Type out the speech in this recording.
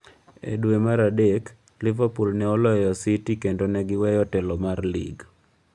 E dwe mar adek, Livepool ne oloyo gi City kendo ne giweyo telo mar lig.